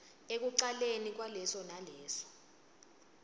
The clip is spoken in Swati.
ekucaleni kwaleso naleso